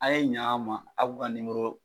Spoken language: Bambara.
A' ye ɲ'an ma a k'o ka